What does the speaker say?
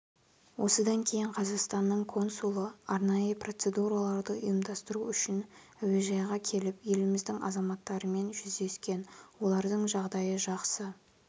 осыдан кейін қазақстанның консулы арнайы процедураларды ұйымдастыру үшін әуежайға келіп еліміздің азаматтарымен жүздескен олардың жағдайы жақсы